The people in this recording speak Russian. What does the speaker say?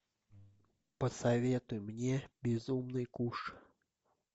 посоветуй мне безумный куш